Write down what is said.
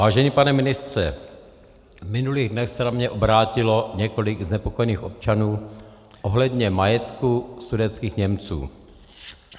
Vážený pane ministře, v minulých dnech se na mě obrátilo několik znepokojených občanů ohledně majetku sudetských Němců.